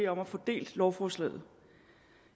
om at få delt lovforslaget